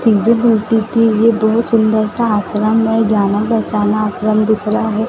बोलती थी ये दो सुंदर सा आश्रम है जाना पहचाना आश्रम दिख रहा है।